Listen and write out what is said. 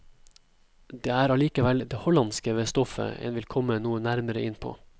Det er allikevel det hollandske ved stoffet en vil komme noe nærmere inn på.